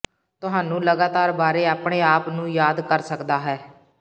ਤੁਹਾਨੂੰ ਲਗਾਤਾਰ ਬਾਰੇ ਆਪਣੇ ਆਪ ਨੂੰ ਯਾਦ ਕਰ ਸਕਦਾ ਹੈ